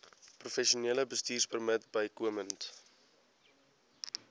professionele bestuurpermit bykomend